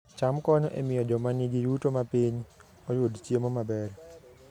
cham konyo e miyo joma nigi yuto mapiny oyud chiemo maber